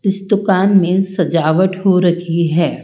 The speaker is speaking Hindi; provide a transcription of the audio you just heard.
इस दुकान में सजावट हो रखी है।